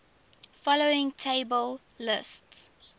following table lists